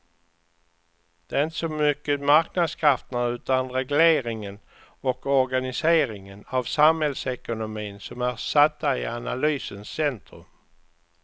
Det är inte så mycket marknadskrafterna utan regleringen och organiseringen av samhällsekonomin som är satta i analysens centrum.